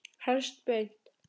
Helst beint.